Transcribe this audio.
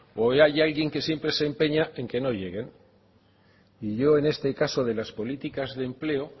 o hay alguien que siempre se empeña en que no lleguen y yo en este caso de las políticas de empleo